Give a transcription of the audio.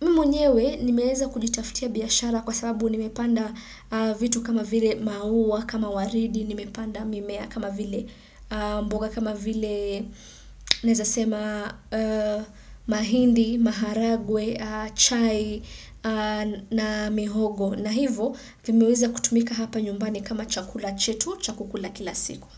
mimi mwenyewe nimeweza kujitafutia biashara kwa sababu nimepanda vitu kama vile maua, kama waridi, nimepanda mimea kama vile mboga, kama vile nawezasema mahindi, maharagwe, chai na mihogo na hivyo vimeweza kutumika hapa nyumbani kama chakula chetu, cha kukula kila siku.